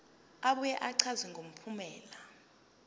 abuye achaze ngempumelelo